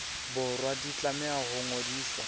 borwa di tlameha ho ngodiswa